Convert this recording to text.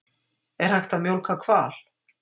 Er hægt að mjólka hval?